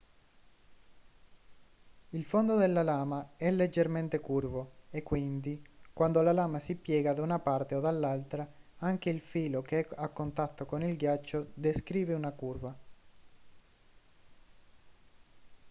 il fondo della lama è leggermente curvo e quindi quando la lama si piega da una parte o dall'altra anche il filo che è a contatto con il ghiaccio descrive una curva